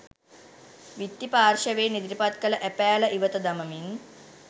විත්ති පාර්ශ්වයෙන් ඉදිරිපත් කළ ඇපෑල ඉවත දමමින්